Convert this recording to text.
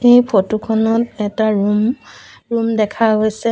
এই ফটো খনত এটা ৰুম ৰুম দেখা গৈছে।